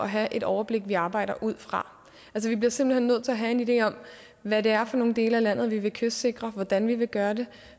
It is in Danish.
have et overblik vi arbejder ud fra vi bliver simpelt hen nødt til at have en idé om hvad det er for nogle dele af landet vi vil kystsikre og hvordan vi vil gøre det